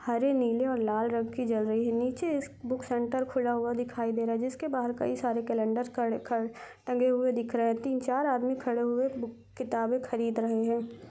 हरे नीले लाल रंग की जल रही है नीचे बुक सेंटर खुला हुआ दिखाई दे रहा है जिसके बाहर कई सारे कैलेंडर ख ख ख टंगें हुए दिखाई दे रहा है तीन-चार आदमी खड़े हुए किताबें खरीद रहे हैं।